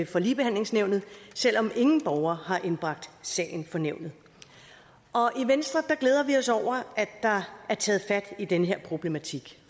for ligebehandlingsnævnet selv om ingen borger har indbragt sagen for nævnet i venstre glæder vi os over at der er taget fat i den her problematik